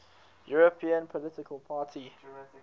european political party